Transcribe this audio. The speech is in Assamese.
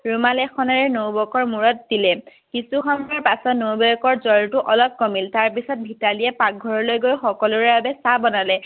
ৰুমাল এখনেৰে নবৌৱেকৰ মূৰত দিলে কিছু সময়ৰ পিছত নবৌৱেকৰ জ্বৰটো অলপ কমিল তাৰ পিছত মিতালীয়ে পাকঘৰলৈ গৈ সকলোৰে বাবে চাহ বনালে